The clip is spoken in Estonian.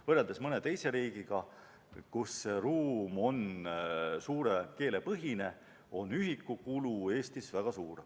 Võrreldes mõne teise riigiga, kus ruum on suure keele põhine, on ühikukulu Eestis väga suur.